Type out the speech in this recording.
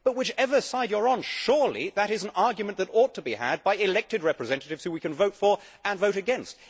But, whichever side you are on, surely that is an argument that ought to be had by elected representatives who we can vote for and vote against.